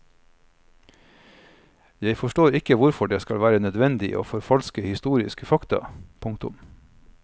Jeg forstår ikke hvorfor det skal være nødvendig å forfalske historiske fakta. punktum